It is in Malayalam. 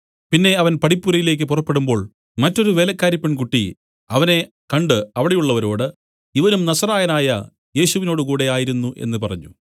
പിന്നെ അവൻ പടിപ്പുരയിലേക്ക് പുറപ്പെടുമ്പോൾ മറ്റൊരു വേലക്കാരി പെൺകുട്ടി അവനെ കണ്ട് അവിടെയുള്ളവരോട് ഇവനും നസറായനായ യേശുവിനോടു കൂടെയായിരുന്നു എന്നു പറഞ്ഞു